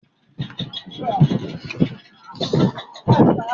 Ṣé ọgá ilé-ìwé náà yóò fún àwọn olùkọ́ náà ní ìwé ìkọsẹ́ tuntun kọ̀ọ̀kan?